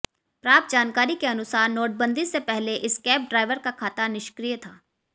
प्राप्त जानकारी के अनुसार नोटबंदी से पहले इस कैब ड्राइवर का खाता निष्क्रिय था